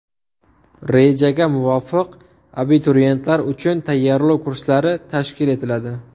Rejaga muvofiq, abituriyentlar uchun tayyorlov kurslari tashkil etiladi.